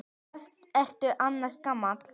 Hvað ertu annars gamall?